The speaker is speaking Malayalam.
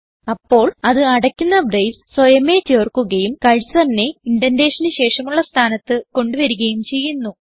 അപ്പോൾ ഇത് അടയ്ക്കുന്ന ബ്രേസ് സ്വയമേ ചേർക്കുകയും cursorനെ indentationന് ശേഷമുള്ള സ്ഥാനത്ത് കൊണ്ട് വരികയും ചെയ്യുന്നു